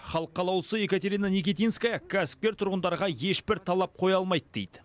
халық қалаулысы екатерина никитинская кәсіпкер тұрғындарға ешбір талап қоя алмайды дейді